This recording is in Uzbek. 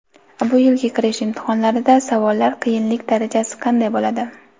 Bu yilgi kirish imtihonlarida savollar qiyinlik darajasi qanday bo‘ladi?.